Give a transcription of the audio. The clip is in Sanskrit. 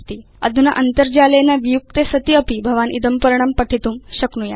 अधुना अन्तर्जालेन वियुक्ते सति अपि भवान् इदं पर्णं पठितुं शक्नुयात्